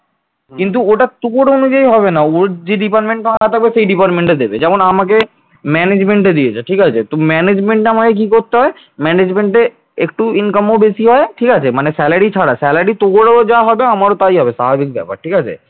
management দিয়েছে ঠিক আছে তো management আমাকে কি করতে হবে management একটু income বেশি হয় ঠিক আছে মানে salary ছাড়া মানে salary তোরও যা হবে আমারও তা হবে। স্বাভাবিক ব্যাপার ঠিক আছে